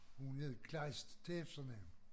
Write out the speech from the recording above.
Hun hed Klejst til efternavn